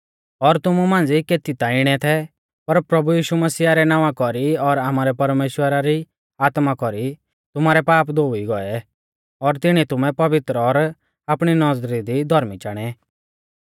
और तुमु मांझ़ी केती ता इणै थै पर प्रभु यीशु मसीह रै नावां कौरी और आमारै परमेश्‍वरा री आत्मा कौरी तुमारै पाप धोउई गौऐ और तिणीऐ तुमै पवित्र और आपणी नौज़री दी धौर्मी चाणै